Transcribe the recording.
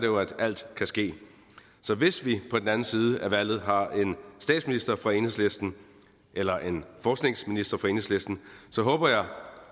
jo at alt kan ske så hvis vi på den anden side af valget har en statsminister fra enhedslisten eller en forskningsminister fra enhedslisten så håber jeg